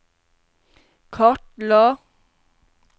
kartla